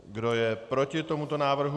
Kdo je proti tomuto návrhu?